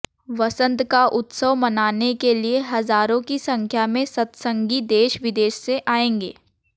वसंत का उत्सव मनाने के लिए हजारों की संख्या में सत्संगी देश विदेश से आएंगे